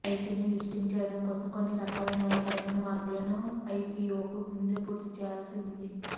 ఎల్ఐసీని listing చేయడం కోసం కొన్ని రకాల న్యాయపరమైన మార్పులను ఐపీఓకు ముందే పూర్తి చేయాల్సి ఉంది